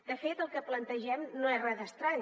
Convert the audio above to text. de fet el que plantegem no és res d’estrany